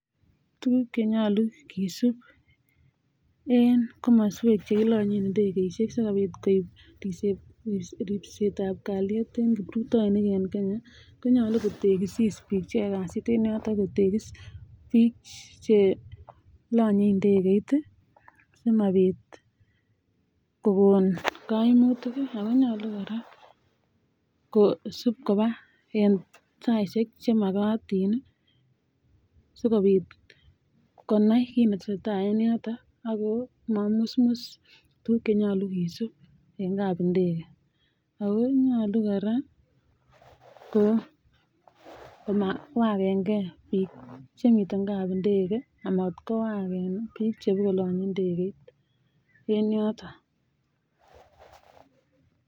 Tuguk chenyolu kesub en kamaswek chekilonyen indegeishek sikobit ribset ab kaliet en kiprutoinik en Kenya konyolu kotekisis bik cheyoe kasit en yoton kotegis bik Che lanye ndekeit simabit kokon kaimuyik ako nyalu koraa kosib Koba saishek chemakatin sikobit konai kit netesetai en yoton akomamusmus tuguk chenyolu kesub en kabindege akonyalu koraa komawagen gei bitch chemii kabindege amatkowaken bik chebo kolanye ndekeit en yoton